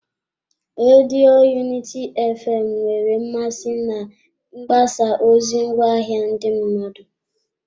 Redio Unity fm nwere mmasị na mgbasa ozi ngwaahịa ndị mmadụ.